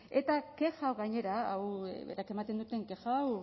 eta kexak gainera hau berak ematen duten kexa hau